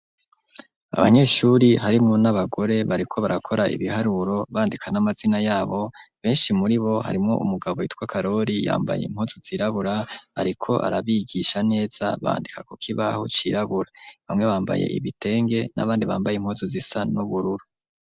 Abanyeshuri harimwo n'abagore bariko barakora ibiharuro bandika n'amazina yabo ,benshi muri bo harimwo umugabo yitwa Karori yambaye impuzu zirabura ariko arabigisha neza, bandika kuk'ikibaho cirabura ,bamwe bambaye ibitenge n'abandi bambaye impuzu zisa n'ubururu.